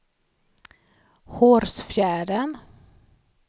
Hårsfjärden